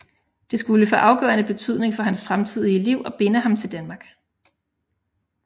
Det skulle få afgørende betydning for hans fremtidige liv og binde ham til Danmark